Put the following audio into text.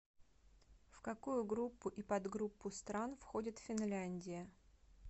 в какую группу и подгруппу стран входит финляндия